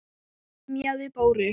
emjaði Dóri.